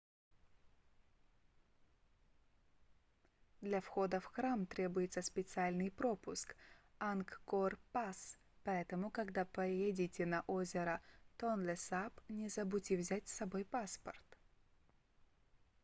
для входа в храм требуется специальный пропуск angkor pass поэтому когда поедете на озеро тонлесап не забудьте взять с собой паспорт